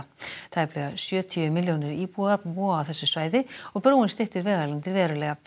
tæplega sjötíu milljónir búa búa á þessu svæði og brúin styttir vegalengdir verulega